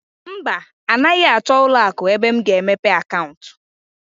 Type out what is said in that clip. Mba, anaghị achọ ụlọ akụ ebe m ga-emepe akaụntụ.